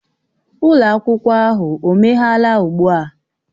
Ụlọ akwụkwọ ahụ o meghela ugbu a?